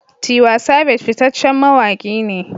Tiwa Savage fitaccen mawaki ne.